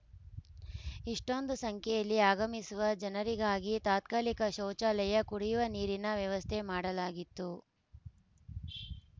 ಇಷ್ಟೊಂದು ಸಂಖ್ಯೆಯಲ್ಲಿ ಆಗಮಿಸುವ ಜನರಿಗಾಗಿ ತಾತ್ಕಾಲಿಕ ಶೌಚಾಲಯ ಕುಡಿಯುವ ನೀರಿನ ವ್ಯವಸ್ಥೆ ಮಾಡಲಾಗಿತ್ತು